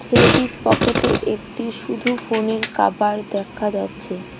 ছেলেটির পকেটে একটি শুধু ফোনের কাবার দেখা যাচ্ছে।